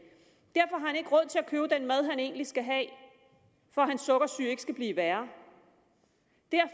købe den mad han egentlig skal have for at hans sukkersyge ikke skal blive værre